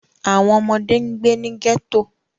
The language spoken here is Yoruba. Awọn ọmọde n gbe ni ghetto.